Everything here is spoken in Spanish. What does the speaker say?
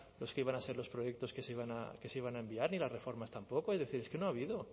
los que iban a ser los proyectos que se iban a enviar ni las reformas tampoco es decir es que no ha habido